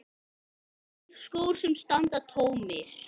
Tveir skór sem standa tómir.